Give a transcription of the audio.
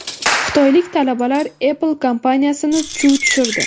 Xitoylik talabalar Apple kompaniyasini chuv tushirdi.